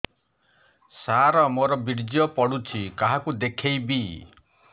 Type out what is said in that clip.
ସାର ମୋର ବୀର୍ଯ୍ୟ ପଢ଼ୁଛି କାହାକୁ ଦେଖେଇବି